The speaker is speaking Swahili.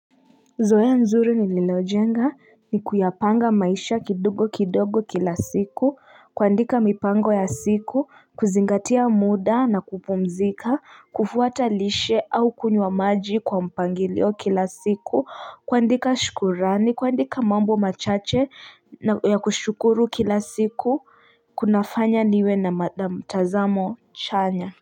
Zoea nzuri ni lilojenga ni kuyapanga maisha kidogo kidogo kila siku kuandika mipango ya siku kuzingatia muda na kupumzika kufuata lishe au kunywa maji kwa mpangilio kila siku kuandika shukurani kuandika mambo machache ya kushukuru kila siku kunafanya niwe na mtazamo chanya.